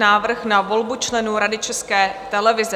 Návrh na volbu členů Rady České televize